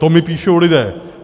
- To mi píšou lidé.